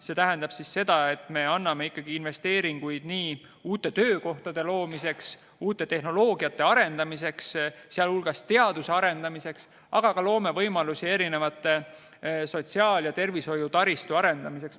See tähendab, et me anname investeeringuid nii uute töökohtade loomiseks, uute tehnoloogiate arendamiseks, sh teaduse arendamiseks, aga loome ka võimalusi sotsiaal- ja tervishoiutaristu arendamiseks.